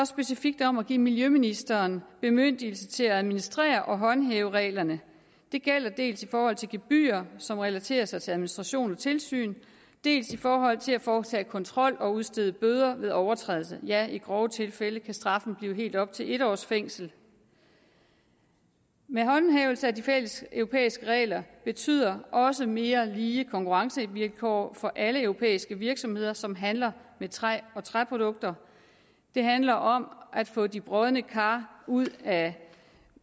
specifikt om at give miljøministeren bemyndigelse til at administrere og håndhæve reglerne det gælder dels i forhold til gebyrer som relaterer sig til administration og tilsyn dels i forhold til at foretage kontrol og udstede bøder ved overtrædelse ja i grove tilfælde kan straffen blive helt op til en års fængsel med håndhævelsen af de fælles europæiske regler betyder også mere lige konkurrencevilkår for alle europæiske virksomheder som handler med træ og træprodukter det handler om at få de brodne kar ud af